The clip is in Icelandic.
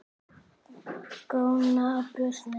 Góna á brjóst mín.